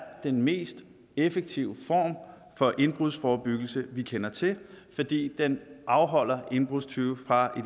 den mest effektive form for indbrudsforebyggelse vi kender til fordi den afholder indbrudstyve fra i